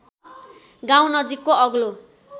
गाउँ नजिकको अग्लो